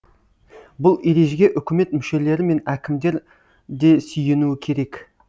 бұл ережеге үкімет мүшелері мен әкімдер де сүйенуі керек